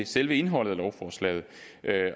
selve indholdet af lovforslaget